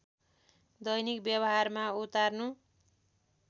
दैनिक व्यवहारमा उतार्नु